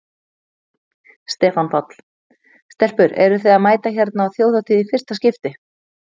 Stefán Páll: Stelpur eruð þið að mæta hérna á Þjóðhátíð í fyrsta skipti?